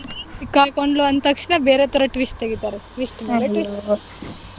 ಸಿಕ್ಕಾಕೊಂಡ್ಲು ಅಂದ್ ತಕ್ಷಣ ಬೇರೆ ತರ twist ತಗೀತಾರೆ twist ಮೇಲೆ twist .